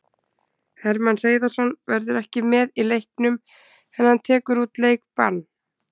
Hermann Hreiðarsson verður ekki með í leiknum en hann tekur út leikbann.